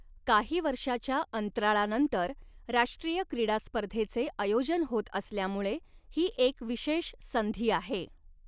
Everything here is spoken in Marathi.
काही वर्षाच्या अंतराळानंतर राष्ट्रीय क्रीडा स्पर्धेचे आयोजन होत असल्यामुळे हि एक विशेष संधी आहे.